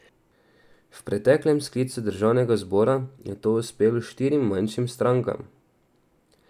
V preteklem sklicu državnega zbora je to uspelo štirim manjšim strankam.